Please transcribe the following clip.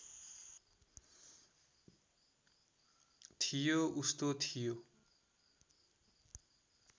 थियो उस्तो थियो